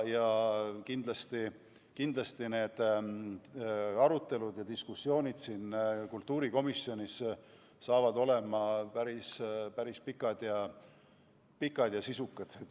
Kindlasti tulevad arutelud ja diskussioonid siin kultuurikomisjonis päris pikad ja sisukad.